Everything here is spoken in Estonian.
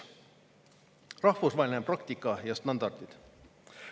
Rahvusvaheline praktika ja standardid.